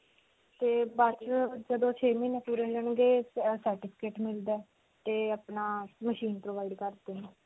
ਤੇ ਬਸ ਅਅ ਜਦੋਂ ਛੇ ਮਹੀਨੇ ਪੂਰੇ ਤੇ certificate ਮਿਲਦਾ ਤੇ ਅਪਣਾ machine provide ਕਰਦੇ ਨੇ.